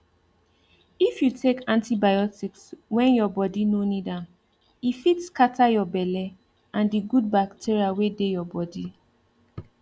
if you take antibiotics when your body no need am e fit scatter your belle and the good bacteria wey dey your bodi